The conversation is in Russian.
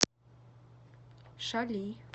шали